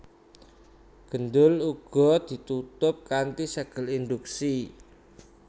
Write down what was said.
Gendul uga ditutup kanthi ségel induksi